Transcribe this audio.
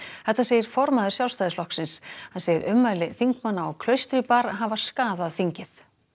þetta segir formaður Sjálfstæðisflokksins hann segir ummæli þingmanna á Klaustri bar hafa skaðað þingið